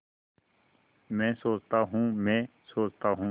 मैं सोचता हूँ मैं सोचता हूँ